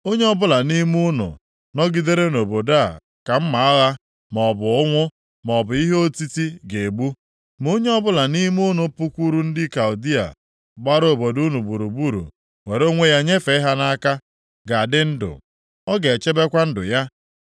Onye ọbụla nʼime unu nọgidere nʼobodo a ka mma agha, maọbụ ụnwụ, maọbụ ihe otiti ga-egbu. Ma onye ọbụla nʼime unu pụkwuru ndị Kaldịa gbara obodo unu gburugburu, were onwe ya nyefee ha nʼaka, ga-adị ndụ; ọ ga-echebekwa ndụ ya.